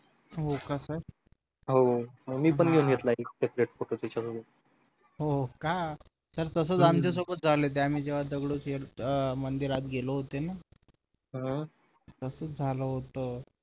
हो का sir हो मी पण एक घेतला separate photo त्याच्याबरोबर हो का sir तसेच आमच्या सोबत झालं होतं आम्ही जेव्हा दगडूशेठ मंदिरात गेलो होतो ना हम्म तसेच झालं होतं